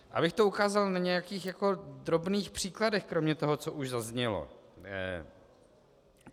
Abych to ukázal na nějakých drobných příkladech kromě toho, co už zaznělo.